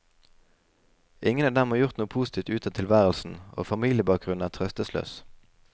Ingen av dem har gjort noe positivt ut av tilværelsen, og familiebakgrunnen er trøstesløs.